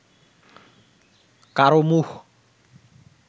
কারও মুখ